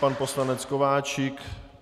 Pan poslanec Kováčik.